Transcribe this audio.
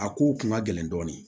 A kow kun ka gɛlɛn dɔɔni